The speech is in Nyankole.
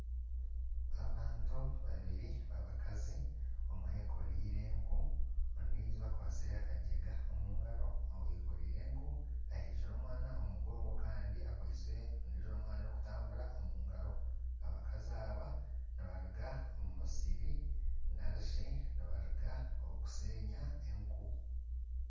Abantu babiri b'abakazi omwe eyekooreire enku ondiijo akwatsire akagyenga omu ngaro oyekoriire enku ehekire omwana omu mugongo kandi akwitse omwana ondiijo orikutambara, omu ngaro, abakazi aba nibaruga omu musiri narishi nibaruga kushenya enku